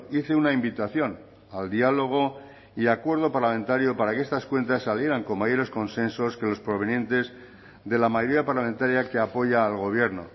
hice una invitación al diálogo y acuerdo parlamentario para que estas cuentas salieran con mayores consensos que los provenientes de la mayoría parlamentaria que apoya al gobierno